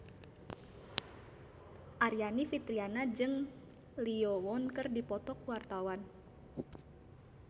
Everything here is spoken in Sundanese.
Aryani Fitriana jeung Lee Yo Won keur dipoto ku wartawan